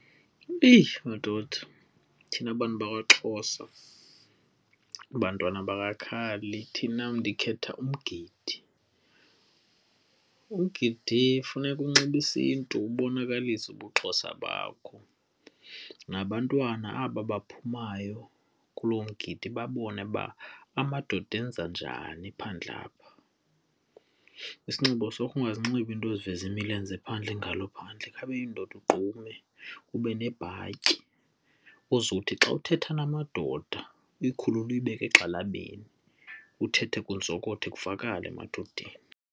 Eyi! Madoda thina bantu bakwaXhosa bantwana bangakhali ndithinam ndikhetha umgidi. Umgidi funeka unxibe isiNtu ubonakalise ubuXhosa bakho nabantwana aba baphumayo kulo mgidi babone uba amadoda enza njani phandle apha. Isinxibo sakho ungazinxibi iinto eziveza imilenze phandle, ingalo phandle khawube yindoda ugqume, ube nebhatyi ozothi xa uthetha namadoda uyikhulule uyibeke egxalabeni, uthethe kuzokothe kuvakale emadodeni.